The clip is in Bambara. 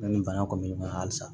Ne ni bana kun bɛ ɲɔgɔn na halisa